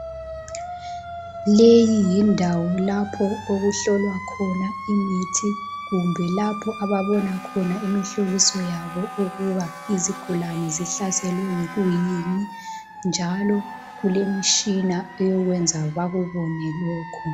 Leyi yindawo lapho okuhlolwa khona imithi kumbe lapho ababona khona ukuthi zihlaselwe yikuyini njalo kulemitshina eyenza bakubone lokhu.